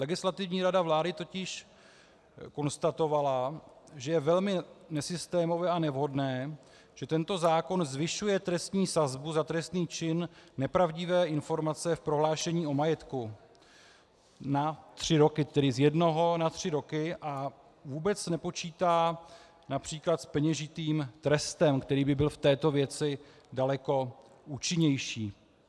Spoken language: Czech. Legislativní rada vlády totiž konstatovala, že je velmi nesystémové a nevhodné, že tento zákon zvyšuje trestní sazbu za trestný čin nepravdivé informace v prohlášení o majetku na tři roky, tedy z jednoho na tři roky, a vůbec nepočítá například s peněžitým trestem, který by byl v této věci daleko účinnější.